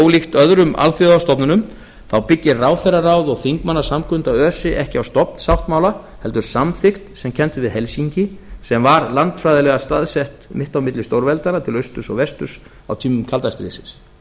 ólíkt öðrum alþjóðastofnunum þá byggir ráðherraráð og þingmannasamkunda öse ekki á stofnsáttmála heldur samþykkt sem kennd er við helsinki sem var landfræðilega staðsett mitt á milli stórveldanna til austurs og vesturs á tímum kalda stríðsins ég